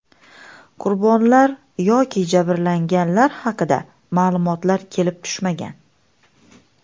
Qurbonlar yoki jabrlanganlar haqida ma’lumotlar kelib tushmagan.